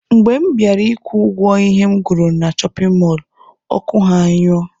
Mgbe mụ bịara ịkwụ ụgwọ ihe m goro na shọpin mọlụ, ọkụ ha anyụọ